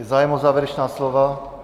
Je zájem o závěrečná slova?